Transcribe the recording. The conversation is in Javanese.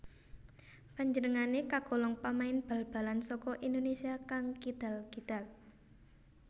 Panjenengané kagolong pamain bal balan saka Indonesia kang kidal kidal